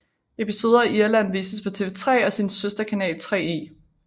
Episoder i Irland vises på TV3 og sin søster kanal 3e